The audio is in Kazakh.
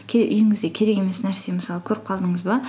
үйіңізде керек емес нәрсе мысалы көріп қалдыңыз ба